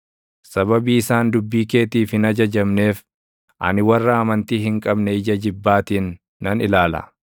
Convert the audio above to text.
Sababii isaan dubbii keetiif hin ajajamneef, ani warra amantii hin qabne ija jibbaatiin nan ilaala.